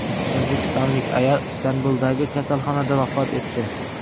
O‘zbekistonlik ayol Istanbuldagi kasalxonada vafot etdi.